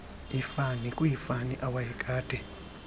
ifani kwiifani awayekade